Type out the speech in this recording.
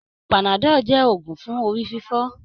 Panadol jẹ́ òògùn fún orí fífọ.